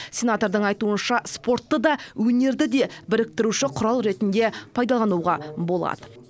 сенатордың айтуынша спортты да өнерді де біріктіруші құрал ретінде пайдалануға болады